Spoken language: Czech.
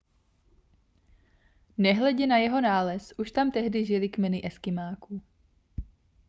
nehledě na jeho nález už tam tehdy žily kmeny eskymáků